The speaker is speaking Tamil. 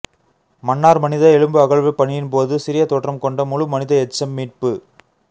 மன்னார் மனித எலும்பு அகழ்வு பணியின் போது சிறிய தோற்றம் கொண்ட முழு மனித எச்சம் மீட்பு